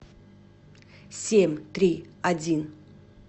семь три один